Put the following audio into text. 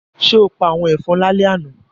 Ṣé o pa àwọn ẹ̀fọn lálẹ́ àná?